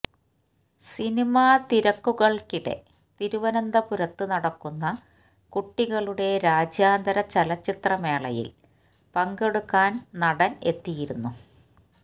സിനിമാത്തിരക്കുകള്ക്കിടെ തിരുവനന്തപുരത്ത് നടക്കുന്ന കുട്ടികളുടെ രാജ്യാന്തര ചലച്ചിത്ര മേളയില് പങ്കെടുക്കാന് നടന് എത്തിയിരുന്നു